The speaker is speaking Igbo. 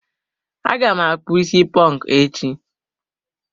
Aga m akpụ is ponku echi.